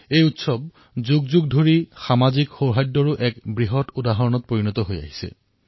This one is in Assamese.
এই উৎসৱ বহু অতীজৰে পৰা সামাজিক সৌহাৰ্দ্যৰ এক উদাহৰণ স্বৰূপে বিবেচিত হৈ আহিছে